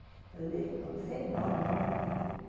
Heliópolis é enorme, né?